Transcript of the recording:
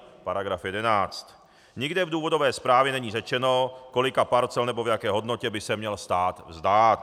Nikde v důvodové zprávě není řečeno, kolika parcel nebo v jaké hodnotě by se měl stát vzdát.